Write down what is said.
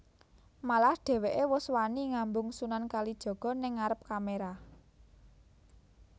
Malah dheweké wus wani ngambung Sunan Kalijaga ning ngarep kamera